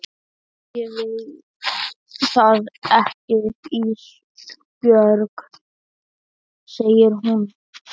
Æ ég veit það ekki Ísbjörg, segir hún.